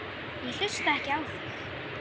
Ég hlusta ekki á þig!